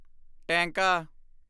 ਟੈਂਕਾ